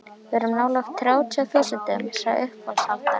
Við erum svo nálægt þrjátíu þúsundunum, sagði uppboðshaldarinn.